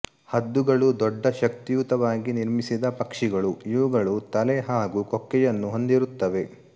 ಹದ್ದುಗಳು ದೊಡ್ಡ ಶಕ್ತಿಯುತವಾಗಿ ನಿರ್ಮಿಸಿದ ಪಕ್ಷಿಗಳುಇವುಗಳು ತಲೆ ಹಾಗು ಕೊಕ್ಕೆಯನ್ನು ಹೊಂದಿರುತ್ತವೆ